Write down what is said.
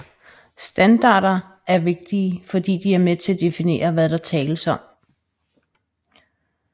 Standarder er vigtige fordi de er med til at definere hvad der tales om